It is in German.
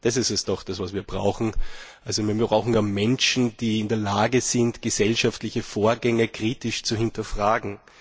Das ist es doch, was wir brauchen. Wir brauchen also Menschen, die in der Lage sind, gesellschaftliche Vorgänge kritisch zu hinterfragen.